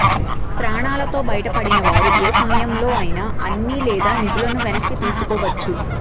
ప్రాణాలతో బయటపడిన వారు ఏ సమయంలో అయినా అన్ని లేదా నిధులను వెనక్కి తీసుకోవచ్చు